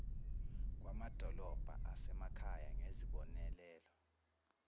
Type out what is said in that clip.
kwamadolobha asemakhaya ngezibonelelo